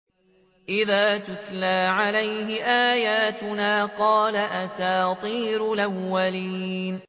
إِذَا تُتْلَىٰ عَلَيْهِ آيَاتُنَا قَالَ أَسَاطِيرُ الْأَوَّلِينَ